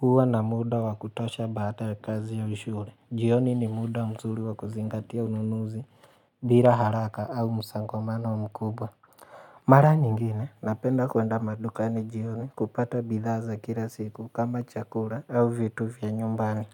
huwa na muda wa kutosha baada ya kazi au shule. Jioni ni muda mzuri wakuzingatia ununuzi, bila haraka au musongamano mkubwa. Mara nyingine, napenda kuenda madukani jioni kupata bidhaa za kila siku kama chakura au vitu vya nyumbani.